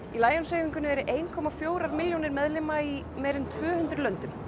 Lions hreyfingunni eru um ein komma fjórar milljónir meðlima í meira en tvö hundruð löndum